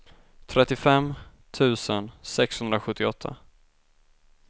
trettiofem tusen sexhundrasjuttioåtta